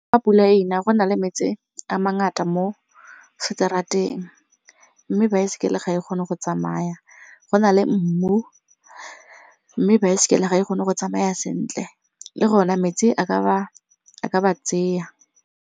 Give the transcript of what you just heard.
Fa pula ena go na le metsi a mangata mo street-eng mme baesekele ga e kgone go tsamaya, go na le mmu mme baesekele ga e kgone go tsamaya sentle le go na metsi a ka ba tseya.